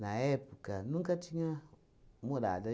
na época, nunca tinham morado.